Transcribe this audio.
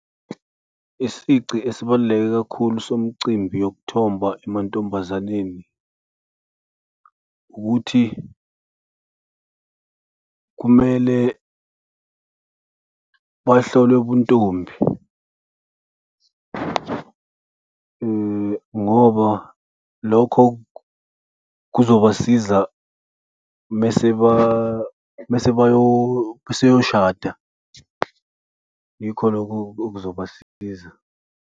Isici esibaluleke kakhulu somcimbi yokuthomba emantombazaneni ukuthi kumele bahlolwe ubuntombi ngoba lokho kuzobasiza uma sebayosada. Yikho lokho okuzobasiza.